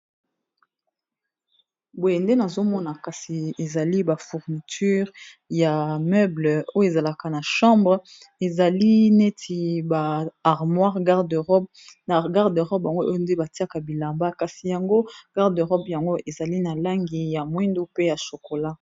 Boye nde nazo mona kasi ezali ba fourniture ya meuble oyo ezalaka na chambre. Ezali neti ba armoire, garde robe, na garde de robe yango oyo nde batiaka bilamba kasi yango garde robe yango ezali na langi ya mwindu pe ya chocolat.